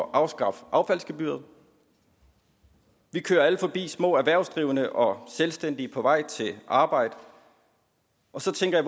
at afskaffe affaldsgebyret vi kører alle forbi små erhvervsdrivende og selvstændige på vej til arbejde og så tænker